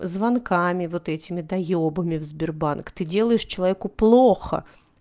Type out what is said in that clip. звонками вот этими доёбами в сбербанк ты делаешь человеку плохо